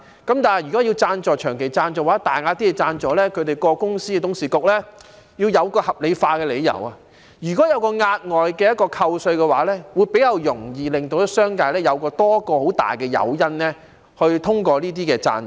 但是，如果是長期贊助或大額贊助，有關公司的董事局便要有合理理由，例如額外扣稅，這樣會比較容易，而商界亦會有多一個很大的誘因通過這些贊助。